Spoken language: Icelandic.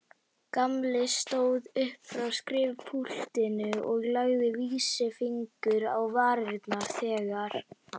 Gamli stóð upp frá skrifpúltinu og lagði vísifingur á varirnar þegar